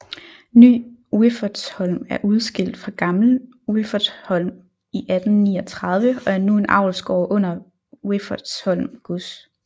Ny Wiffertsholm er udskilt fra Gammel Wiffertsholm i 1839 og er nu en avlsgård under Wiffertsholm Gods